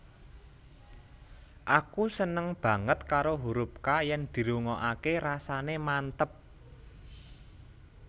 Aku seneng banget karo hurup K yen dirungokake rasane manteb